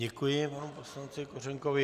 Děkuji panu poslanci Kořenkovi.